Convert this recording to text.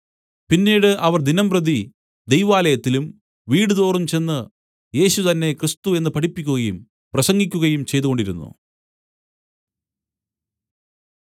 പിന്നീട് അവർ ദിനംപ്രതി ദൈവാലയത്തിലും വീടുതോറും ചെന്ന് യേശു തന്നെ ക്രിസ്തു എന്ന് പഠിപ്പിക്കുകയും പ്രസംഗിക്കുകയും ചെയ്തുകൊണ്ടിരുന്നു